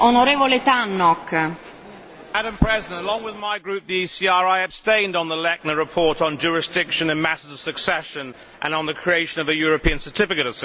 Madam President, along with my group, the ECR, I abstained on the Lechner report on jurisdiction and matters of succession and on the creation of a European Certificate of Succession.